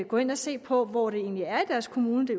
gå ind og se på hvor det egentlig er i deres kommune det